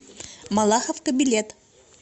малаховка билет